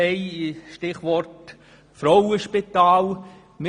Als Stichwort ist das Frauenspital zu nennen.